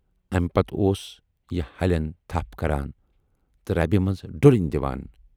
اَمہِ پَتہٕ اوس یہِ ہَلٮ۪ن تھپھ کَران تہٕ رَبہِ منٛز ڈُلٕنۍ دِوان۔